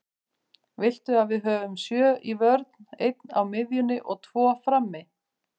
Viltu að við höfum sjö í vörn, einn á miðjunni og tvo frammi?